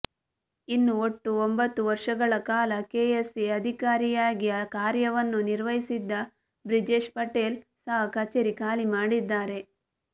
ಇನ್ನು ಒಟ್ಟು ಒಂಬತ್ತು ವರ್ಷಗಳ ಕಾಲ ಕೆಎಸ್ಸಿಎ ಅಧಿಕಾರಿಯಾಗಿ ಕಾರ್ಯವನ್ನು ನಿರ್ವಹಿಸಿದ್ದ ಬ್ರಿಜೇಶ್ ಪಟೇಲ್ ಸಹ ಕಚೇರಿ ಖಾಲಿ ಮಾಡಿದ್ದಾರೆ